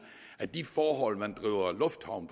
at de forhold man driver lufthavn